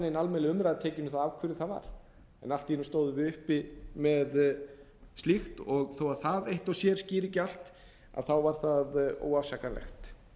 almennileg umræða tekin um það af hverju það var en allt í einu stóðum við uppi með slíkt og þó að það eitt og sér skýri ekki allt var það óafsakanlegt